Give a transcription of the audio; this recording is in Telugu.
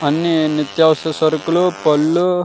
అన్ని నిత్యఅవసర సరుకులు పళ్ళు --